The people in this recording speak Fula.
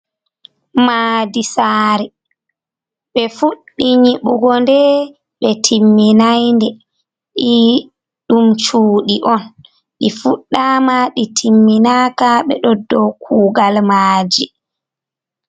Maɗi sare ɓe fuɗɗi nyiɓugo nɗe ɓe timminai nɗe ee ɗum cuɗi on ,ɗi fuɗɗama ɗi timminaka ɓe ɗo ɗo kugal maji.